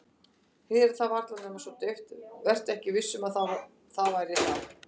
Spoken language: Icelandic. Heyra það varla nema svo dauft, vera ekki viss um að það væri það.